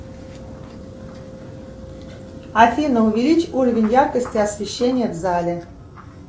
афина увеличь уровень яркости освещения в зале